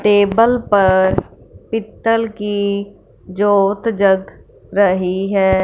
Table पर पीतल की जोत जग रही है।